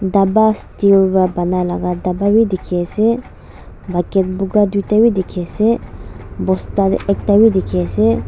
dabha steel para banai laga dabha bhi dikhi ase bucket boga duita bhi dikhi ase bosta ekta bhi dikhi ase.